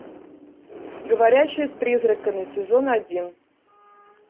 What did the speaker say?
говорящая с призраками сезон один